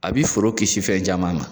A bi foro kisi fɛn caman na